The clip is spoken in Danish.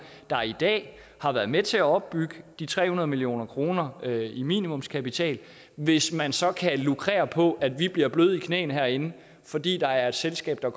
der i dag har været med til at opbygge de tre hundrede million kroner i minimumskapital hvis man så kan lukrere på at vi bliver bløde i knæene herinde fordi der er et selskab der